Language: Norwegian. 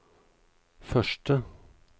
første